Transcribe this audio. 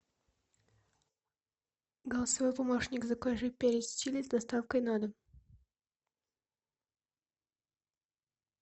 голосовой помощник закажи перец чили с доставкой на дом